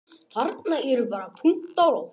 Matthías, hvaða mánaðardagur er í dag?